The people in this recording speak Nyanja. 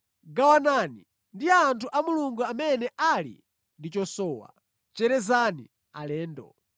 Gawanani ndi anthu a Mulungu amene ali ndi chosowa. Cherezani alendo.